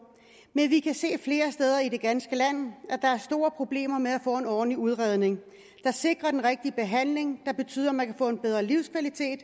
men vi kan se flere steder i det ganske land at der er store problemer med at få en ordentlig udredning der sikrer den rigtige behandling der betyder at man kan få en bedre livskvalitet